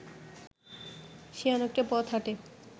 সে অনেকটা পথ হাঁটে